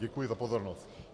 Děkuji za pozornost.